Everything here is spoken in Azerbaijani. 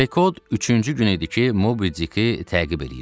Pekod üçüncü gün idi ki, Mobidiki təqib eləyirdi.